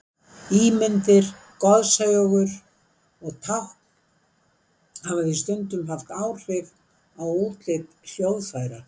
Ímyndir, goðsögur og tákn hafa því stundum haft áhrif á útlit hljóðfæra.